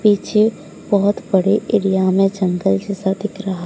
पीछे बहुत बड़े एरिया में जंगल जैसा दिख रहा--